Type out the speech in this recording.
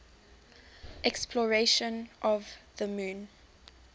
exploration of the moon